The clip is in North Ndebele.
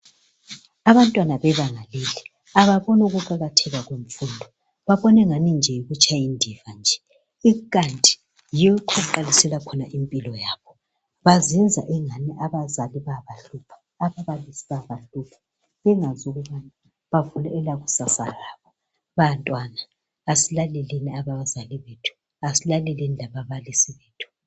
Abantwana bebanga leli ababoni ukuqakatheka kwemfundo, babonengani nje yikutshayindiva nje kanti yikho okuqalisela khona impilo yakho. Bazenza angani abazali bayabahlupha bengazi ukuthi bavula elakusasa labo. Bantwana asilaleleni abazali bethu, asilaleleni lababalisi bethu.